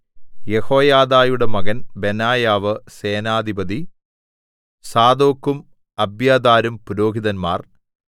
യെഹോയാദയുടെ മകൻ ബെനായാവ് സേനാധിപതി സാദോക്കും അബ്യാഥാരും പുരോഹിതന്മാർ